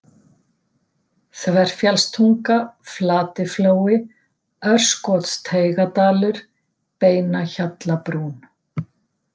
Þverfjallstunga, Flatiflói, Örskotsteigadalur, Beinahjallabrún